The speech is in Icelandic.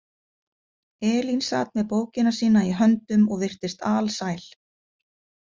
Elín sat með bókina sína í höndum og virtist alsæl.